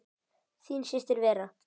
Þín systir Vera.